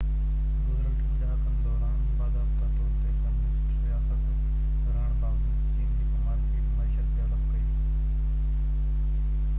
گذريل ٽن ڏهاڪن دوران باضابطه طور تي ڪميونسٽ رياست رهڻ باوجود چين هڪ مارڪيٽ معيشت ڊولپ ڪئي